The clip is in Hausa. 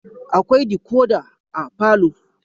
Akwai decoder a palour